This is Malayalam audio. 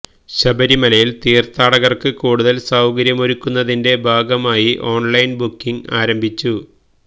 ശബരിമലയില് തീര്ത്ഥാടകര്ക്ക് കൂടുതല് സൌകര്യമൊരുക്കുന്നതിന്റെ ഭാഗമായി ഓണ്ലൈന് ബുക്കിംഗ് ആരംഭിച്ചു